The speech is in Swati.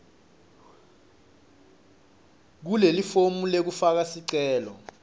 kulelifomu lekufaka sicelo